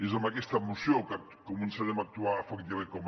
és amb aquesta moció que començarem a actuar efectivament com a